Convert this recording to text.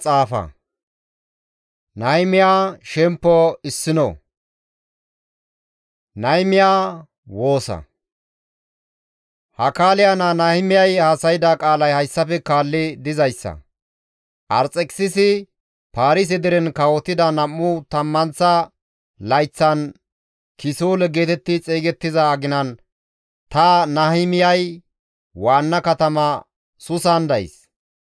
Hakaaliya naa Nahimiyay haasayda qaalay hayssafe kaalli dizayssa; Arxekisisi Paarise deren kawotida nam7u tammanththa layththan kisoole geetetti xeygettiza aginan ta Nahimiyay waanna katama Suusan days.